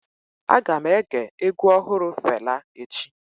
Aga m ege egwu ọhụrụ Fela echi.